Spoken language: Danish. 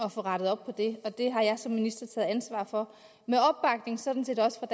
at få rettet op på det og det har jeg som minister taget ansvaret for sådan set også